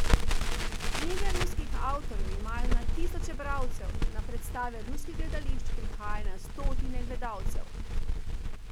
Knjige ruskih avtorjev imajo na tisoče bralcev, na predstave ruskih gledališč prihaja na stotine gledalcev.